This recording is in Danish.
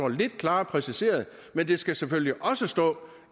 lidt klarere præciseret men der skal selvfølgelig også stå